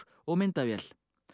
og myndavél